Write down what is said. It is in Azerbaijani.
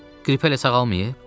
Qrip hələ sağalmayıb?